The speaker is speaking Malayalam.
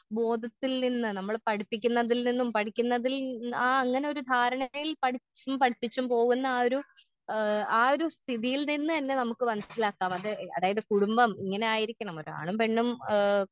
ബോധത്തിൽ നിന്ന് നമ്മൾ പഠിപ്പിക്കുന്നതിൽ നിന്നും ആ പഠിക്കുന്നതിൽ ആ അങ്ങനെയൊരു ധാരണയിൽ പഠിച്ചും പഠിപ്പിച്ചും പോകുന്ന ആ ഒരു ഏ ആ ഒരു സ്ഥിതിയിൽ നിന്നന്നെ നമുക്കു മനസ്സിലാക്കാം അത് അതായത് കുടുംബം ഇങ്ങനെയായിരിക്കണം ഒരാണും പെണ്ണും ഏ.